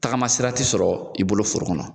Tagama sira tɛ sɔrɔ i bolo foro kɔnɔ.